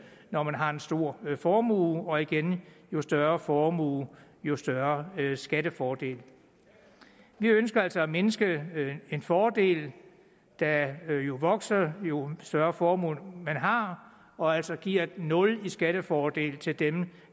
når man har en stor formue og igen jo større formue jo større skattefordel vi ønsker altså at mindske en fordel der jo vokser jo større formue man har og altså giver et nul i skattefordel til dem